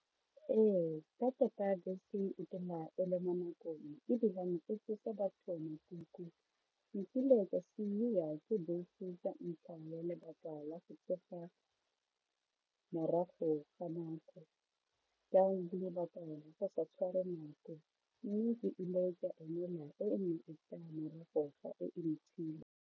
Ee ka tota bese e le mo nakong ebilane e tsosa batho makuku, nkile ka siiwa ke bese ka ntlha ya lebaka la go tsoga morago ga nako lebaka la go sa tshware nako mme ke ile ka emela e e neng e tla morago ga e e .